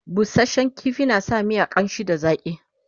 busashen ƙifi na sa miya ƙamshi da zaƙi